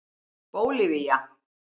Bólivía